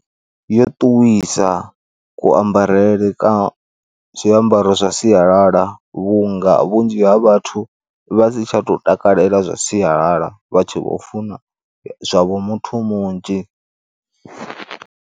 Yo ṱuwisa kuambarele kwa zwiambaro zwa sialala vhunga vhunzhi ha vhathu vha si tsha tou takalela zwa sialala vha tshi vho funa zwavho muthu munzhi.